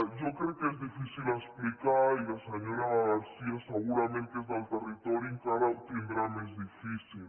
jo crec que és difícil explicar i la senyora garcia segurament que és del territori encara ho tindrà més difícil